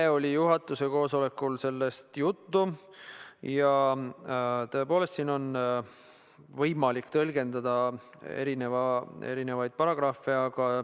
Eile oli juhatuse koosolekul sellest juttu ja tõepoolest siin on võimalik tõlgendada erinevaid paragrahve.